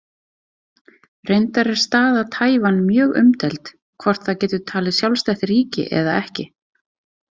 Reyndar er staða Taívan mjög umdeild, hvort það getur talið sjálfstætt ríki eða ekki.